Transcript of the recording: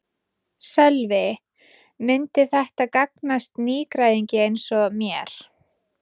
Sölvi: Myndi þetta gagnast nýgræðingi eins og mér?